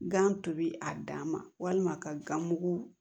Gan tobi a dan ma walima ka gan mugu